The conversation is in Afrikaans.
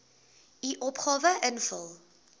u opgawe invul